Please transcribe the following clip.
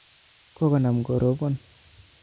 Kokonam korobon